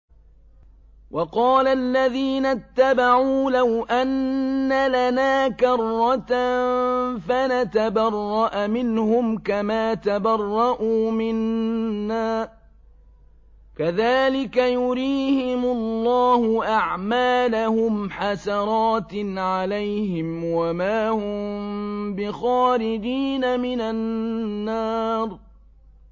وَقَالَ الَّذِينَ اتَّبَعُوا لَوْ أَنَّ لَنَا كَرَّةً فَنَتَبَرَّأَ مِنْهُمْ كَمَا تَبَرَّءُوا مِنَّا ۗ كَذَٰلِكَ يُرِيهِمُ اللَّهُ أَعْمَالَهُمْ حَسَرَاتٍ عَلَيْهِمْ ۖ وَمَا هُم بِخَارِجِينَ مِنَ النَّارِ